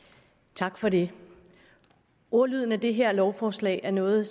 tak for det ordlyden i det her lovforslag er noget